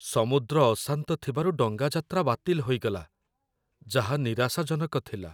ସମୁଦ୍ର ଅଶାନ୍ତ ଥିବାରୁ ଡଙ୍ଗା ଯାତ୍ରା ବାତିଲ ହୋଇଗଲା, ଯାହା ନିରାଶାଜନକ ଥିଲା।